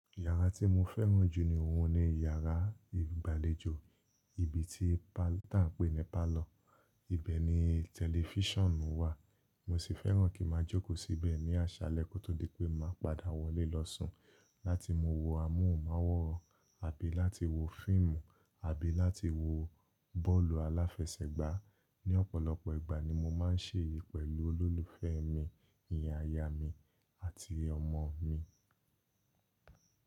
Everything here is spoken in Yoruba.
Yàrá tí mo fẹ́ràn jù ní òun ni yàrá ìgbàlejò, ibi tí pa tá ń pè ní parlour. Ibẹ̀ ni tẹlifíṣàn wà, mo sì fẹ́ràn kí n ma jókòó síbẹ̀ ní àṣálẹ́ kó tó di pé màá padà wọlé lọ sùn láti maa wo amóhùnmáwòrán àbí láti wo fíìmù àbí láti wo bọ́ọ̀lù aláfẹsẹ̀gbá. Ni ọ̀pọ̀lọpọ̀ ìgbà ni mo máa ń ṣe èyí pẹ̀lú olólùfẹ́ mi, iyen ayá mi àti ọmọ mi.